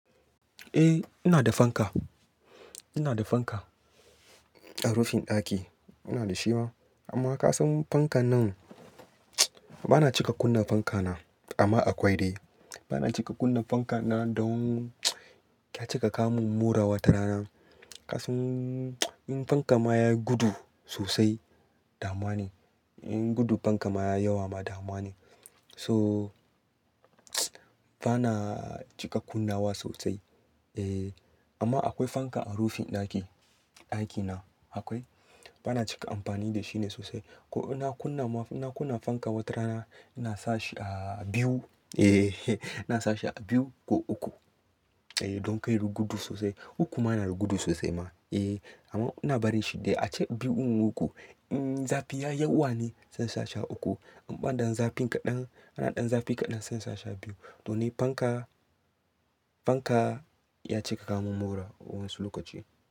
Eh ina da fanka, ina da fanka a rufin ɗaki. Ina da shi ma, amma ka san fankan nan ba na cika kunna fanka na. Amma akwai dai, ba na cika kunna fanka na don ya cika kawo min mura wata rana. Ka san in fanka ma yayi gudu sosai, damuwa ne. In gudu fanka ma ya yawa ma dama ne. So ba na cika kunnawa sosai. Eh amma akwai fanka a rufin ɗaki, ɗaki na akwai. Ba na cika amfani da shi ne sosai. Ko ina kunna ma, ina kunna fanka wata rana, ina sa shi a biyu. Eh ina sa shi a biyu ko uku. Eh don kar yayigudu sosai. Ukuma yana gudu sosai ma. Eh amma ina bari shi dai. A ce biyu in uku, in zafi ya yawa ne, zan sa shi a uku. An ɓadan zafin kaɗan, ana ɗan zafi kaɗan zan sa shi a biyu. To ni fanka, fanka ya cika kawo min mura wasu lokaci.